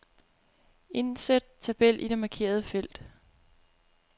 Indsæt tabel i det markerede felt.